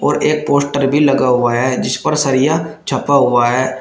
और एक पोस्टर भी लगा हुआ है जिस पर सरिया छपा हुआ है।